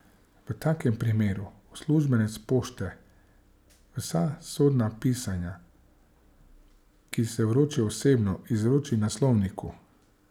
V takem primeru uslužbenec pošte vsa sodna pisanja, ki se vročajo osebno, izroči naslovniku.